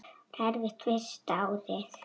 Það var erfitt fyrsta árið.